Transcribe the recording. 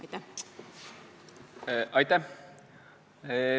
Aitäh!